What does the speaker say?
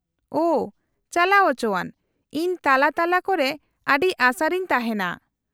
-ᱳᱺ , ᱪᱟᱞᱟᱣ ᱚᱪᱚᱣᱟᱱ ! ᱤᱧ ᱛᱟᱞᱟ ᱛᱟᱞᱟ ᱠᱚᱨᱮ ᱟᱹᱰᱤ ᱟᱥᱟᱨᱤᱧ ᱛᱟᱦᱮᱱᱟ ᱾